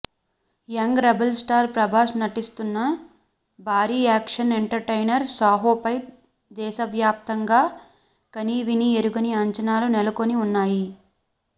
young rebel star Prabhas నటిస్తున్న భారీ action entertainer సాహోపై దేశవ్యాప్తంగా కనీవినీ ఎరుగని అంచనాలు నెలకొని ఉన్నాయి